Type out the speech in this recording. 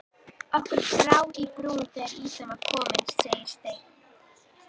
Okkur brá í brún þegar ýtan var komin segir Steini.